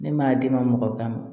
Ne m'a d'i ma mɔgɔ kan